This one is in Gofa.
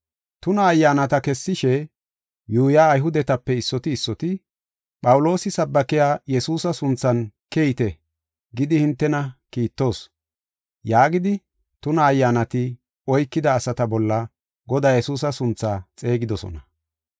Tuna ayyaanata kessishe yuuyiya Ayhudetape issoti issoti, “Phawuloosi sabbakiya Yesuusa sunthan keyite gidi hintena kiittoos” yaagidi, tuna ayyaanati oykida asaa bolla Godaa Yesuusa sunthaa xeegidosona.